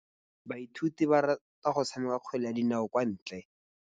Basimane ba rata go tshameka kgwele ya dinaô kwa ntle.